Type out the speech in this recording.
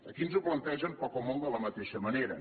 aquí ens ho plantegen poc o molt de la mateixa manera